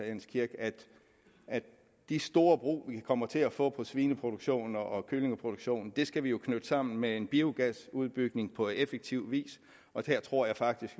jens kirk at de store brug vi kommer til at få for svineproduktion og kyllingeproduktion skal vi jo knytte sammen med en biogasudbygning på effektiv vis og der tror jeg faktisk